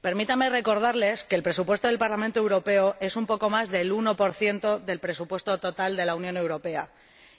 Permítanme recordarles que el presupuesto del Parlamento Europeo representa un poco más del 1 del presupuesto total de la Unión Europea,